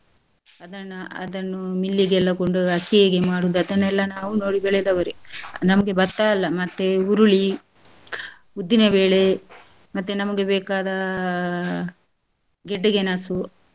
ಅದನ್ನ, ಅದನ್ನೂ mill ಗೆಲ್ಲ ಕೊಂಡು~ ಅಕ್ಕಿ ಹೇಗೆ ಮಾಡುದ್ ಅದನ್ನೆಲ್ಲ ನಾವು ನೋಡಿ ಬೆಳೆದವರೆ ನಮಗೆ ಭತ್ತ ಅಲ್ಲ ಮತ್ತೆ ಹುರುಳಿ ಉದ್ದಿನಬೇಳೆ ಮತ್ತೆ ನಮಗೆ ಬೇಕಾದ ಗೆಡ್ಡೆ ಗೆಣಸು.